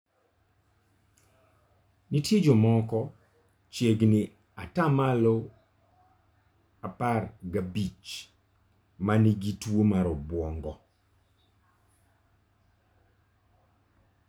Nitie jomoko (chiegni pasent 15) ma nigi tuwo mar obwongo.